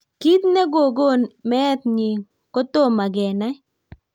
Kit negogon meet nyii kotomaa kenai